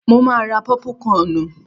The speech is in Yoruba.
Mo ma ra pọ́púkọnù.